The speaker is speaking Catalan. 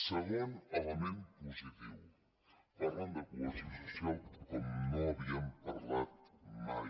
segon element positiu parlen de cohesió social com no havien parlat mai